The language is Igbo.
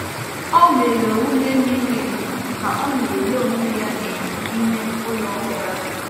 Ọ mere ume miri emi ka o na-ele onwe ya n’enyo ime ụlọ ụra.